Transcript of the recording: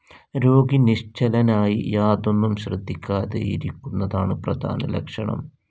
രോഗി നിശ്ചലനായി യാതൊന്നും ശ്രദ്ധിക്കാതെയിരിക്കുന്നതാണ് പ്രധാന ലക്ഷണം.